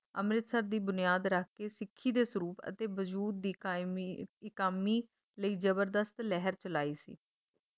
ਅੰਮ੍ਰਿਤਸਰ ਦੀ ਬੁਨਿਆਦ ਰੱਖ ਕੇ ਸਿੱਖੀ ਦੇ ਸਰੂਪ ਅਤੇ ਵਜੂਦ ਦੀ ਕਾਇਮ ਮੀ ਇਕਾਮੀ ਲਈ ਜਬਰਦਸਤ ਲਹਿਰ ਚਲਾਈ ਸੀ।